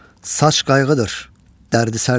Saç qayğıdır, dərdi-sərdir.